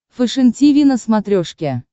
фэшен тиви на смотрешке